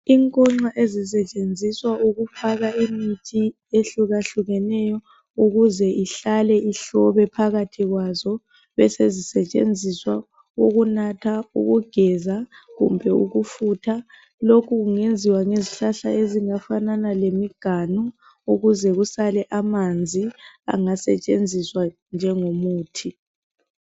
Inkonxa ezisetshenziswa ukufaka imithi ehlukahlukeneyo ukuze ihlale ihlobe phakathi kwazo, besezisetshenziswa ukunatha, ukugeza kumbe ukufutha, lokhu kungenziwa ngezihlahla ezingafanana lemiganu ukuze kusale amanzi angasetshenziswa njengomuthi.